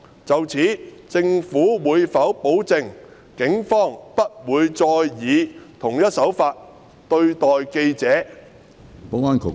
就此，政府會否保證警方不會再以同一手法對待記者？